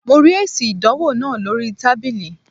Mo rí èsì ìdánwò náà lóríi tábìlì